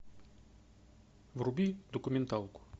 вруби документалку